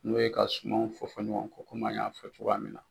N'o ye ka sumanw fɔ fɔ ɲɔgɔn kɔ komi an y'a fɔ cogoya min na.